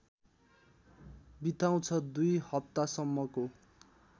बिताउँछ २ हप्तासम्मको